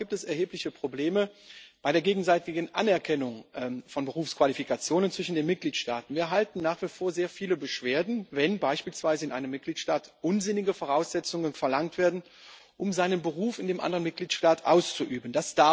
Und immer noch gibt es erhebliche Probleme bei der gegenseitigen Anerkennung von Berufsqualifikationen zwischen den Mitgliedstaaten. Wir erhalten nach wie vor sehr viele Beschwerden, wenn beispielsweise in einem Mitgliedstaat unsinnige Voraussetzungen verlangt werden, um seinen Beruf in einem anderen Mitgliedstaat auszuüben.